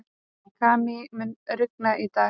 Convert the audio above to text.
Kamí, mun rigna í dag?